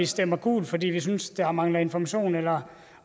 stemme gult fordi vi synes der mangler information eller